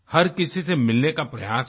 हर किसी से मिलने का प्रयास किया